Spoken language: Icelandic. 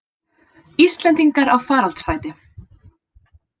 Íslendingar á faraldsfæti